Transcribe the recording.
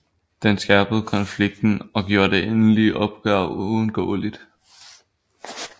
Det skærpede konflikten og gjorde det endelige opgør uundgåeligt